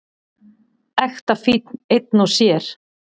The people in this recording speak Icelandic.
Ekta fínn einn og sér.